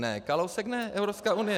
Ne, Kalousek ne, Evropská unie.